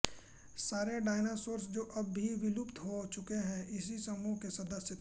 सारे डायनासोर जो अब सभी विलुप्त हो चुके हैं भी इसी समूह के सदस्य थे